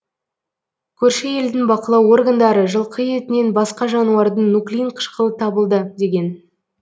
көрші елдің бақылау органдары жылқы етінен басқа жануардың нуклеин қышқылы табылды деген